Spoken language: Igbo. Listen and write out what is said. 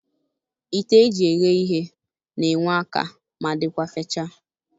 Ite eji eghe ihe n'enwe aka ma dịkwa fechaa.